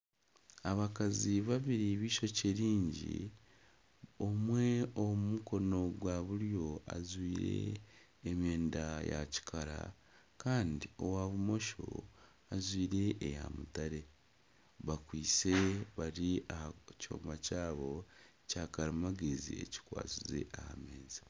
Abakazi babiri b'eishokye ringi, omwe ow'aha mukono gwa buryo ajwire emyenda ya kikara kandi owa bumosho ajwire eya mutare bari aha kyoma kyabo kyakarimagyezi kikwatsize aha meeza